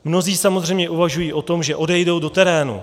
Mnozí samozřejmě uvažují o tom, že odejdou do terénu.